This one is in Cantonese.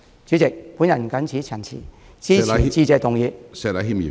主席，我謹此陳辭，支持致謝議案。